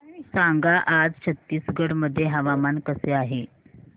सांगा आज छत्तीसगड मध्ये हवामान कसे आहे